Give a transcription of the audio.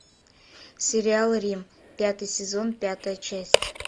сериал рим пятый сезон пятая часть